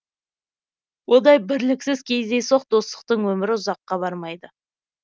ондай бірліксіз кездейсоқ достықтың өмірі ұзаққа бармайды